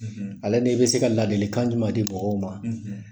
Ale ni bɛ se ka ladili kan jumɛn di mɔgɔw ma;